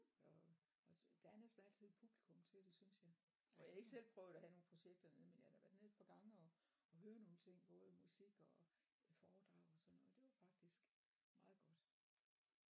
Og og så der er næsten altid et publikum til det synes jeg og jeg har ikke selv prøvet at have nogle projekter dernede men jeg har da været nede et par gange og og høre nogle ting både musik og et foredrag og sådan noget det var faktisk meget godt